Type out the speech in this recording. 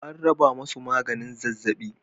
AN raba musu maganin zazzaɓi.